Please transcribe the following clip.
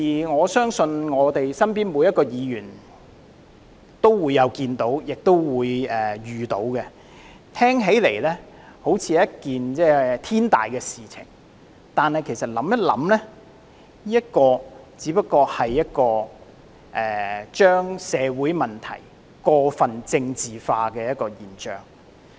我相信每一位議員也曾看到及遇到這樣的情況，聽起來好像是一件天大的事情，但其實再想一想，這只不過是把社會問題過分政治化的現象。